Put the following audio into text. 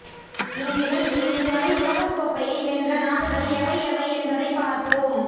இந்நிலையில் இதுவரை உலகக் கோப்பையை வென்ற நாடுகள் எவை எவை என்பதை பார்ப்போம்